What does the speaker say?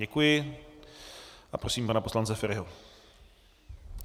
Děkuji a prosím pana poslance Feriho.